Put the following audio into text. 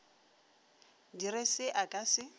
dire se a ka se